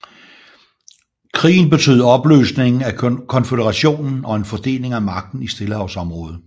Krigen betød opløsningen af konføderationen og en fordeling af magten i Stillehavsområdet